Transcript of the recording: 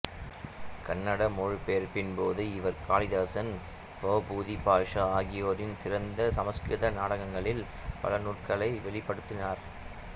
கன்னட மொழிபெயர்ப்பின் போது இவர் காளிதாசன் பவபூதி பாசா ஆகியோரின் சிறந்த சமசுகிருத நாடகங்களின் பல நுணுக்கங்களை வெளிப்படுத்தினார்